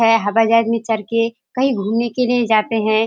हवाईजहाज में चहड़ के कही घूमने के लिए जाते है।